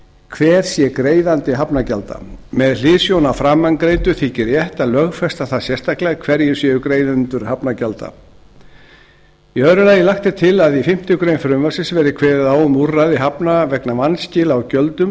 hver sé greiðandi hafnargjalda með hliðsjón af framangreindu þykir rétt að lögfesta það sérstaklega hverjir séu greiðendur hafnargjalda annars lagt er til að í fimmtu grein frumvarpsins verði kveðið á um úrræði hafna vegna vanskila á gjöldum